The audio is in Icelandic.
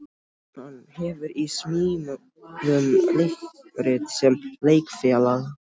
Hann hefur í smíðum leikrit sem Leikfélag